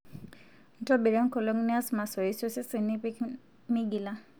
ntobira enkolong' nias masoesi osesen nipik meigila